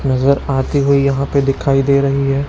नजर आती हुई यहाँ पे दिखाई दे रहीं हैं।